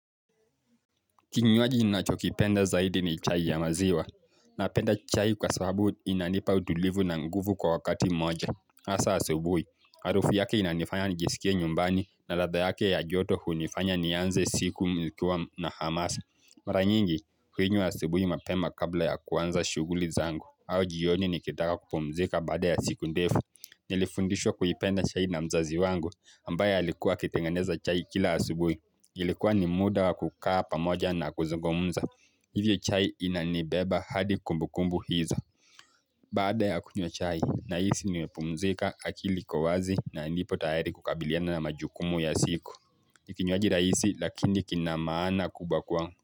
Kinywaji ninachokipenda zaidi ni chai ya maziwa. Napenda chai kwa sababu inanipa utulivu na nguvu kwa wakati moja. Hasa asubui, harufu yake inanifanya nijisikie nyumbani na ladha yake ya joto hunifanya nianze siku nikiwa na hamasa. Mara nyingi, huinywa asubui mapema kabla ya kuanza shuguli zangu. Au jioni nikitaka kupumzika baada ya siku ndefu. Nilifundishwa kuipenda chai na mzazi wangu, ambaye alikuwa akitengeneza chai kila asubui. Ilikuwa ni muda wa kukaa pamoja na kuzungumuza. Hivyo chai inanibeba hadi kumbukumbu hiza. Baada ya kunywa chai, nahisi nimepumzika akili iko wazi na nipo tayari kukabiliana na majukumu ya siku. Ni kinywaji rahisi lakini kina maana kubwa kwangu.